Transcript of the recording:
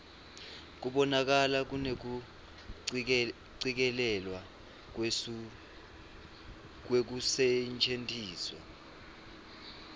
kubonakala kunekucikelelwa kwekusetjentiswa